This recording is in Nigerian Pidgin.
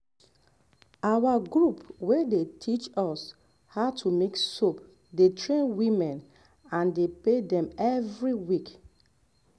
our group wey dey teach us how to make soap dey train women and dey pay dem every week.